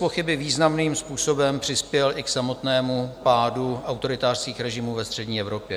Bezpochyby významným způsobem přispěl i k samotnému pádu autoritářských režimů ve střední Evropě.